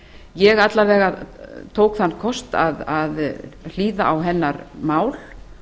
ég alla vega tók þann kost að hlýða á hennar mál